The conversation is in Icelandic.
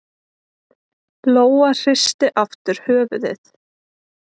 Lóa hristi aftur höfuðið.